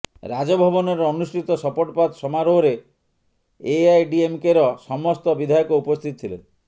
ରାଜଭବନରେ ଅନୁଷ୍ଠିତ ଶପଥପାଠ ସମାରୋହରେ ଏଆଇଡିଏମ୍କେର ସମସ୍ତ ବିଧାୟକ ଉପସ୍ଥିତ ଥିଲେ